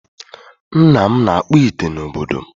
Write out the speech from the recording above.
Nna m na-akpụ ite n'obodo m.